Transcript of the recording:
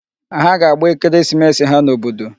Ha ga-agba ekeresimesi ha n'obodo.